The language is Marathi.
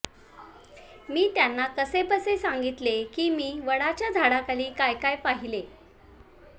मी त्यांना कसेबसे सांगितले की मी वडाच्या झाडाखाली काय काय पाहिले